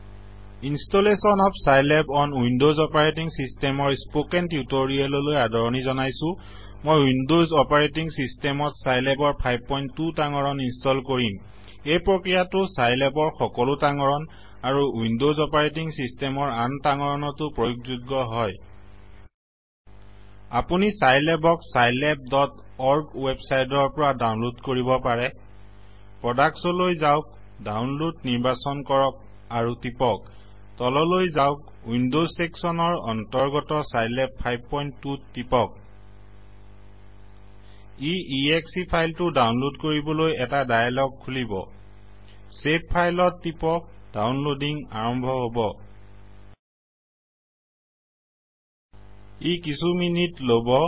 installation of Scilab on Windows operating চিষ্টেমৰ spoken tutorial লৈ আদৰণি জনাইছো মই উইনদচ অপাৰেটিং চিষ্টেমত চাইলেবৰ 52 তাঙৰণ ইনষ্টল কৰিম এই প্ৰক্ৰিয়াটো চাইলেবৰ সকলো তাঙৰণ আৰু উইনদচ অপাৰেটিং চিষ্টেমৰ আন তাঙৰণটো প্ৰয়োগযোগ্য হয় আপুনি চাইলেবক scilabঅৰ্গ উৱেবচাইট ৰ পৰা দাউনলদ কৰিব পাৰে প্ৰদাক্তচ লৈ যাওঁক দাউনলদনিৰ্বাচন কৰক আৰু টিপক তললৈ যাওঁক উইনদচ চেকচনৰ অন্তৰ্গত চাইলেব 52ত টিপক ই এশে ফাইল টো দাউনলদ কৰিবলৈ এটা দায়েলগ খুলিব চেভ ফাইল ত টিপকদাউনলদিং আৰম্ভ হব ই কিছু মিনিট লব